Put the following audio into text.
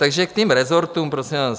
Takže k těm rezortům, prosím vás.